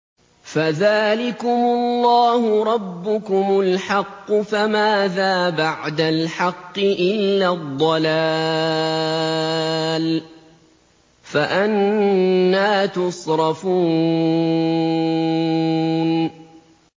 فَذَٰلِكُمُ اللَّهُ رَبُّكُمُ الْحَقُّ ۖ فَمَاذَا بَعْدَ الْحَقِّ إِلَّا الضَّلَالُ ۖ فَأَنَّىٰ تُصْرَفُونَ